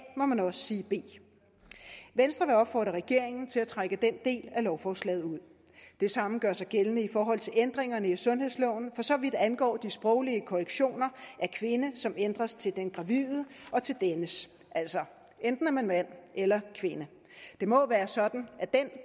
må man også sige b venstre vil opfordre regeringen til at trække den del af lovforslaget ud det samme gør sig gældende i forhold til ændringerne i sundhedsloven for så vidt angår de sproglige korrektioner af kvinde som ændres til den gravide og til dennes altså enten er man mand eller kvinde det må være sådan at den